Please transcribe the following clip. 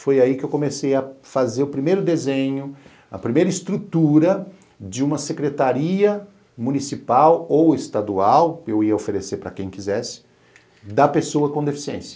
Foi aí que eu comecei a fazer o primeiro desenho, a primeira estrutura de uma secretaria municipal ou estadual, eu ia oferecer para quem quisesse, da pessoa com deficiência.